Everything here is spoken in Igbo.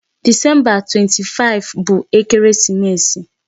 Disemba 25 bụ ekeresimesi.